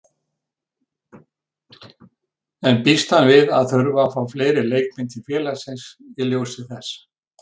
En býst hann við að þurfa að fá fleiri leikmenn til félagsins í ljósi þess?